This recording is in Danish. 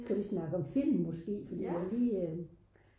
kan vi snakke om film måske fordi det var jo lige øh